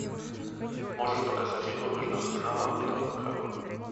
можешь показать игру между арсеналом и тоттенхэмом